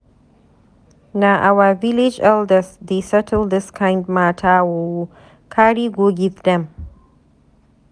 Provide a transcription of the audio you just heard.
Na our village elders dey settle dis kind mata o, carry go give dem.